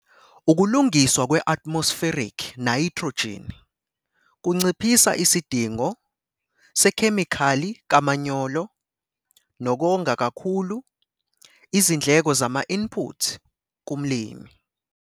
Ukulungiswa kwe-atmospheric nayithrojini kunciphisa isidingo sekhemikhali kamanyolo nokonga kakhulu izindleko zama-input kumlimi.